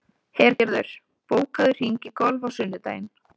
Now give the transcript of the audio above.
Hergerður, bókaðu hring í golf á sunnudaginn.